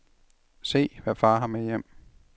Se, hvad far har med hjem.